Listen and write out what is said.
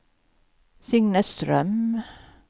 Signe Ström